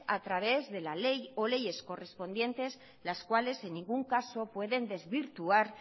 a través de la ley o leyes correspondientes las cuales en ningún caso puede desvirtuar